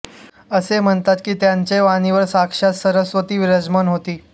असे म्हणतात कि त्यांचे वाणीवर साक्षात सरस्वती विराजमान होती